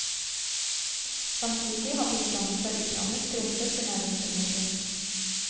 Samtidig har bistanden fra utlandet skrumpet til nærmest ingenting.